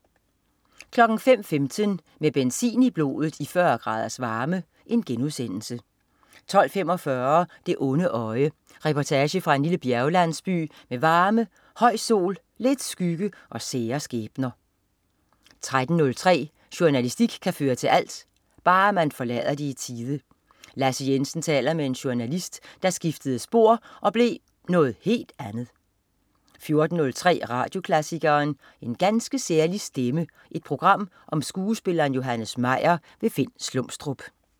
05.15 Med benzin i blodet i 40 graders varme* 12.45 Det onde øje. Reportage fra en lillle bjerglandsby med varme, høj sol, lidt skygge, og sære skæbner 13.03 Jornalistik kan føre til alt ... bare man forlader det i tide. Lasse Jensen taler med en journalist, der skiftede spor og blev noget helt andet 14.03 Radioklassikeren. En ganske særlig stemme. Et program om skuespilleren Johannes Meyer. Finn Slumstrup